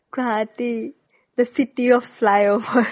guwahati, the city of flyover